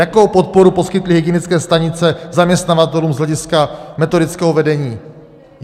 Jakou podporu poskytly hygienické stanice zaměstnavatelům z hlediska metodického vedení?